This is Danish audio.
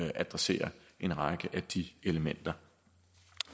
adressere en række af de elementer